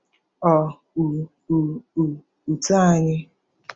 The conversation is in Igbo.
Ọ́ u u u ut`anyị?